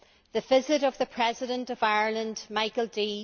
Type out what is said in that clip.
The visit of the President of Ireland, Michael D.